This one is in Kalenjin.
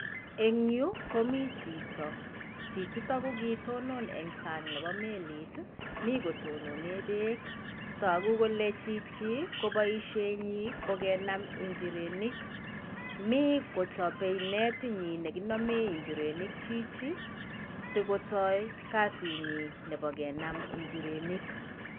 Eng' yu, komi chito. Chichitok ko kitonon en sang' nebo melit, mi kotononee beek. Togu kole chichi, ko boisietnyin ko kenam njirenik. Mi kochopei netitnyin nekinomee njirenik chichi sikotooi kasitnyin nebo kenam njirenik.